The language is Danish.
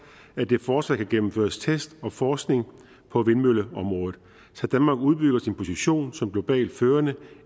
at der fortsat kan gennemføres test og forskning på vindmølleområdet så danmark udbygger sin position som globalt førende